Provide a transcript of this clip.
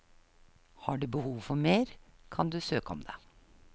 Har du behov for mer, kan du søke om det.